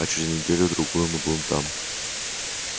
а через неделю-другую мы будем там